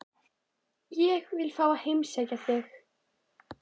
Ég vil fá að heimsækja þig.